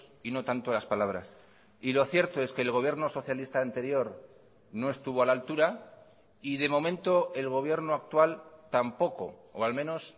y no tanto las palabras y lo cierto es que el gobierno socialista anterior no estuvo a la altura y de momento el gobierno actual tampoco o al menos